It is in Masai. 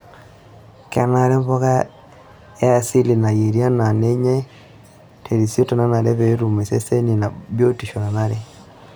Kenare mpuka e asili neyieri naa nenyai terisioroto nanare pee etum iseseni ina biotisho nanare.